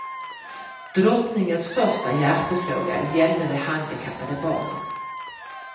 Drottningens första hjärtefråga gällde de handikappade barnen.